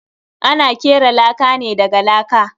Ana kera laka ne daga laka.